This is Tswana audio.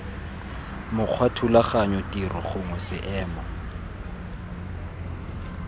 mokgwa thulaganyo tiro gongwe seemo